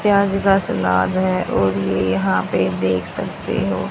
प्याज का सलाद है और ये यहां पे देख सकते हो।